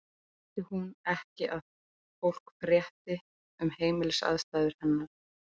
Vildi hún ekki að fólk frétti um heimilisaðstæður hennar?